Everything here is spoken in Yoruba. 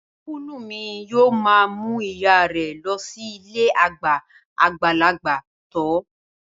Ọ́nkùlù mi yóò ma mú ìyáa rẹ lọ sí ilée àgbà àgbàlagbà tọ́